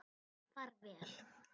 Far vel.